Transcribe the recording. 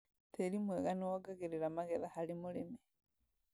Tĩri mwega nĩwongagĩrĩra magetha harĩ mũrĩmi